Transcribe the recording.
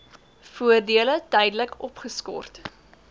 voordele tydelik opgeskort